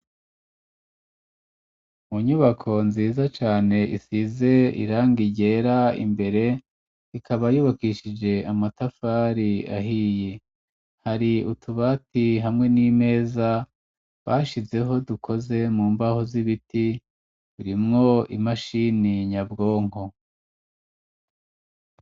Mu nyubako, nziza cane, isize irangi ryera imbere, ikaba yubakishije, amatafari ahiye; hari utubati, hamwe n'imeza, bashizeho, dukoze mu mbaho z'ibiti, burimwo imashini nyabwonko.